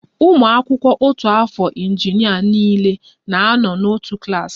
ụmụ akwụkwọ otu afọ injinịa niile na-anọ n'otu klas